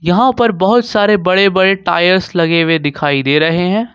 यहां पर बहुत सारे बड़े बड़े टायर्स लगे हुए दिखाई दे रहे हैं।